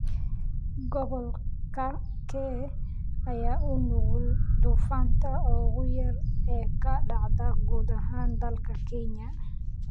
Gobolka kee ayaa u nugul duufaanta ugu yar ee ka dhacda guud ahaan dalka Kenya